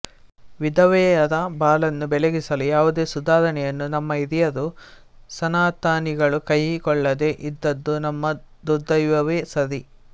ವಿಧವೆಯರ ಬಾಳನ್ನು ಬೆಳಗಿಸಲು ಯಾವುದೇ ಸುಧಾರಣೆಯನ್ನು ನಮ್ಮ ಹಿರಿಯರು ಸನಾತನಿಗಳು ಕೈ ಕೊಳ್ಳದೇ ಇದ್ದದ್ದು ನಮ್ಮ ದುರ್ದೈವವೆ ಸರಿ